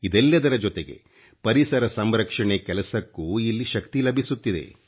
ಇದೆಲ್ಲದರ ಜೊತೆಗೆ ಪರಿಸರ ಸಂರಕ್ಷಣೆ ಕೆಲಸಕ್ಕೂ ಇಲ್ಲಿ ಶಕ್ತಿ ಲಭಿಸುತ್ತಿದೆ